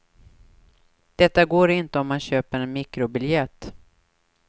Detta går inte om man köper en mikrobiljett.